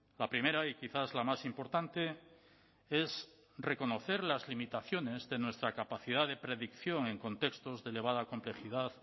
la primera y quizás la más importante es reconocer las limitaciones de nuestra capacidad de predicción en contextos de elevada complejidad